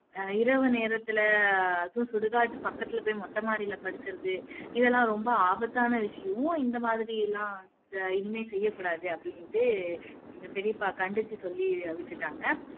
அஹ் இரவு நேரத்துல அதும் சுடுகாட்டு பக்கத்துல போய் மொட்ட மாடியில படுக்குறது இதெல்லாம் ரொம்ப ஆபத்தான விஷயம் இந்த மாதிரியெல்லாம் இனிமே செய்ய கூடாது அப்படின்னிட்டு எங்க பெரியப்பா கண்டிச்சு சொல்லி விட்டுட்டாங்க